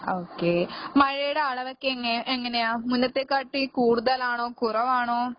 Okay മഴേടെ അളവൊക്കെ എങ്ങെ എങ്ങനെയാ? മുന്നെത്തെക്കാട്ടീ കൂടുതലാണോ കുറവാണോ?